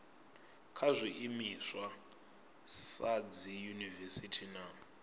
kha zwiimiswa sa dziyunivesiti na